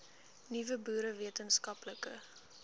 nuwe boere wetenskaplike